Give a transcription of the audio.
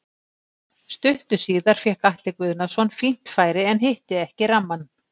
Stuttu síðar fékk Atli Guðnason fínt færi en hitti ekki rammann.